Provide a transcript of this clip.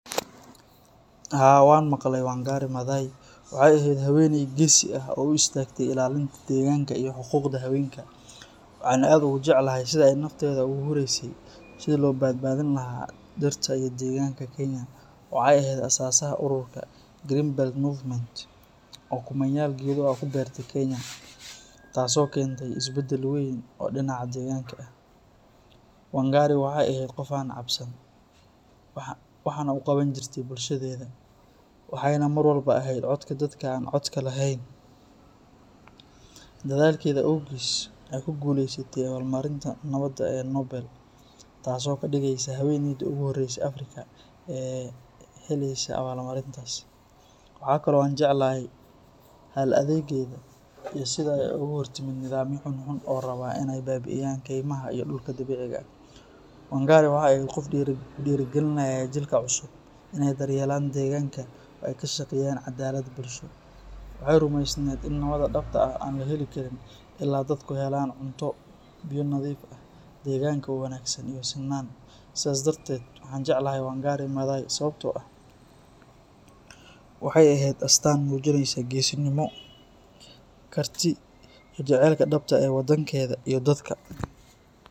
Haa, waxaan maqlay Wangari Maathai, waxay ahayd haweeney geesi ah oo u istaagtay ilaalinta deegaanka iyo xuquuqda haweenka. Waxaan aad ugu jeclahay sida ay nafteeda ugu huraysay sidii loo badbaadin lahaa dhirta iyo deegaanka Kenya. Waxay ahayd aasaasaha ururka Green Belt Movement oo kumanyaal geedo ah ku beertay Kenya, taasoo keentay isbeddel weyn oo dhinaca deegaanka ah. Wangari waxay ahayd qof aan cabsan waxna u qaban jirtay bulshadeeda, waxayna mar walba ahayd codka dadka aan codka lahayn. Dadaalkeeda awgiis, waxay ku guuleysatay abaalmarinta Nabadda ee Nobel, taasoo ka dhigaysa haweeneydii ugu horreysay ee Afrikaan ah ee helaysa abaalmarintaas. Waxa kale oo aan jeclahay hal-adaygeeda iyo sida ay uga hortimid nidaamyo xun xun oo raba inay baabi’iyaan kaymaha iyo dhulka dabiiciga ah. Wangari waxay ahayd qof ku dhiirrigelinaya jiilka cusub inay daryeelaan deegaanka oo ay ka shaqeeyaan cadaalad bulsho. Waxay rumaysnayd in nabadda dhabta ah aan la heli karin ilaa dadku helaan cunto, biyo nadiif ah, deegaanka oo wanaagsan iyo sinaan. Sidaas darteed, waxaan jeclahay Wangari Maathai sababtoo ah waxay ahayd astaan muujinaysa geesinimo, karti iyo jacaylka dhabta ah ee waddankeeda iyo dadka.